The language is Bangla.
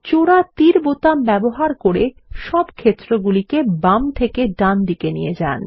জোড়া তীর বোতাম ব্যবহার করে সব ক্ষেত্রগুলিকে বাম থেকে ডান ডানদিকে নিয়ে যান